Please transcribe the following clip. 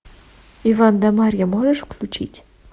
иван да марья можешь включить